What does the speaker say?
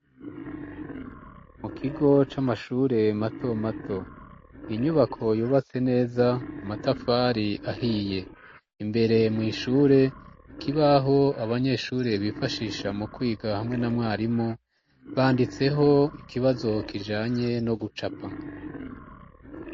Mu kigo c'amashure mato mato. Inyubako yubatse neza amatafari ahiye imbere mu ishure ikibaho abanyeshure bifashisha mu kwiga hamwe na mwarimu banditseho ikibazo kijanye no gucapa.